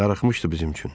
Darıxmışdı bizim üçün.